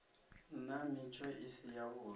nna mitsho i si yavhui